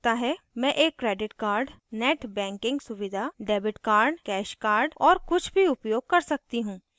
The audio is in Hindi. मैं एक credit card net banking सुविधा debit card cash card और कुछ भी उपयोग कर सकती हूँ